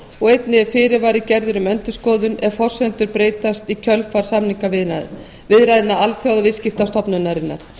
og einnig er fyrirvari gerður um endurskoðun ef forsendur breytast í kjölfar samningaviðræðna alþjóðaviðskiptastofnunarinnar